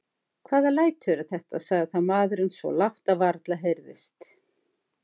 Hvaða læti eru þetta, sagði þá maðurinn svo lágt að varla heyrðist.